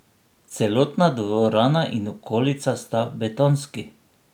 Celotna dvorana in okolica sta betonski.